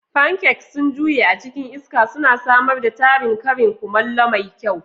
Pancakes sun juye a cikin iska, suna samar da tarin karin kumallo mai kyau.